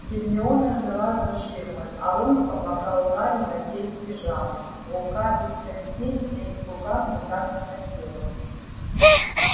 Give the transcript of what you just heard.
гермиона ждала за ширмой а рон помогал гарри надеть пижаму рука без костей лезть в рукав никак не хотела